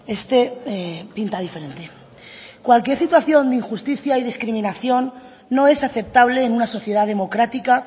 este pinta diferente cualquier situación de injusticia y discriminación no es aceptable en una sociedad democrática